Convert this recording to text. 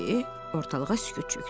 Ortalığa sükut çökdü.